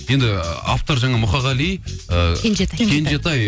енді автор жаңа мұқағали ы кенжетай